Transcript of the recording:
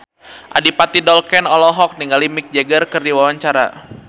Adipati Dolken olohok ningali Mick Jagger keur diwawancara